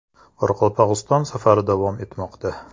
Qoraqalpog‘iston safari davom etmoqda.